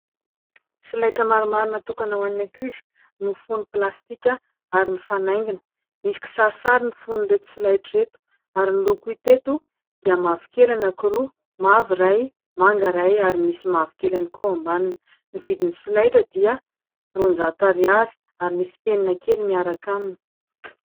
Solaitra maromaro natokana ho any ankizy, mifono plastika ary mifanaingina. Misy kisarisary ny fonon'ireto solaitra ireto, ary ny loko hita teto dia mavokely ny anankiroa, mavo iray, manga iray ary misy mavokely ihany koa eo ambaniny. Ny vidin'ny solaitra dia roan-jato ariary ary misy mpenina kely miaraka aminy.